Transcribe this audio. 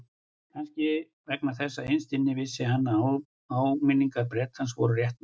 Kannski vegna þess að innst inni vissi hann að áminningar Bretans voru réttmætar.